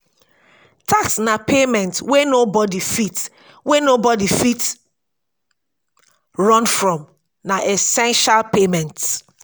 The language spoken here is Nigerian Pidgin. tax na payment wey nobody fit wey nobody fit run from na essential payment